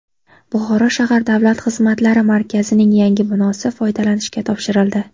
Buxoro shahar Davlat xizmatlari markazining yangi binosi foydalanishga topshirildi.